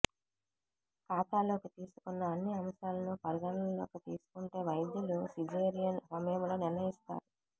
ఖాతాలోకి తీసుకున్న అన్ని అంశాలను పరిగణనలోకి తీసుకుంటే వైద్యులు సిజేరియన్ సమయంలో నిర్ణయిస్తారు